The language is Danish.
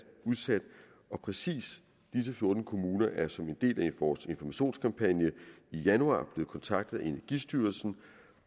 udsat og præcis disse fjorten kommuner er som en del af vores informationskampagne i januar blevet kontaktet af energistyrelsen